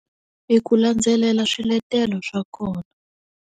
I ku landzelela swiletelo swa kona.